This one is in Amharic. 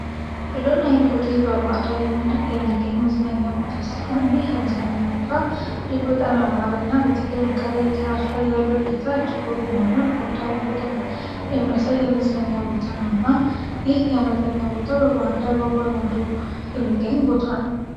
ብሉ ናይል ሆቴል በባሃዳር የሚገኝ መዝነኛ ቦታ ሲሆን ይህ የመዝነኛ ቦታ ድግ በጣም ያማረ እና በተለይ እንከላይ ትራሱ ላይ ያለው እጊታ ጅግብ የሆነ ባሃዳርን በደም የሚያሳይ የመዝነኛ ቦታ ነው እና ይህ የመዝነኛ ቦታ በባሃዳር በአባይ ማዶ የሚገኝ ቦታ ነው።